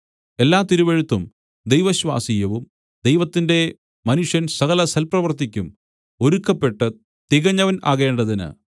എല്ലാ തിരുവെഴുത്തും ദൈവശ്വാസീയവും ദൈവത്തിന്റെ മനുഷ്യൻ സകലസൽപ്രവൃത്തിക്കും ഒരുക്കപ്പെട്ട് തികഞ്ഞവൻ ആകേണ്ടതിന്